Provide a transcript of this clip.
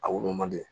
A wolo mandi